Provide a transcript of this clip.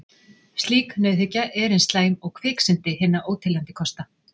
Slík nauðhyggja er eins slæm og kviksyndi hinna óteljandi kosta.